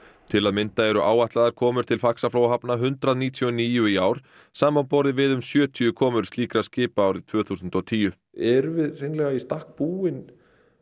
til að mynda eru áætlaðar komur til Faxaflóahafna hundrað níutíu og níu í ár samanborið við um sjötíu komur slíkra skipa árið tvö þúsund og tíu erum við hreinlega í stakk búin